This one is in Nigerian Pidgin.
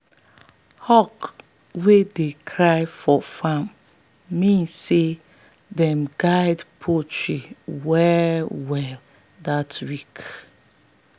hawk wey dey cry for farm mean say make them guard poultry well well that week.